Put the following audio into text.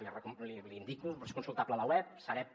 l’hi indico és consultable a la web sareb